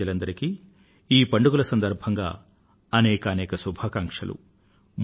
దేశ ప్రజలందరికీ ఈ పండుగల సందర్భంగా అనేకానేక శుభాకాంక్షలు